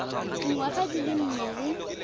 dinyaga di le nne le